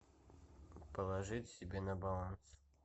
положить себе на баланс